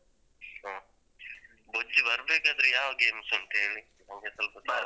ಹ್ಮ್ ಬೊಜ್ಜು ಬರ್ಬೇಕಾದ್ರೆ ಯಾವ games ಉಂಟು ಹೇಳಿ ನಂಗೆ ಸ್ವಲ್ಪ ಬರ್ಬೇಕು.